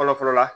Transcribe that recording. Fɔlɔ fɔlɔ la